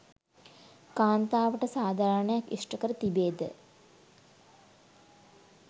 කාන්තාවට සාධාරණයක් ඉෂ්ට කර තිබේ ද?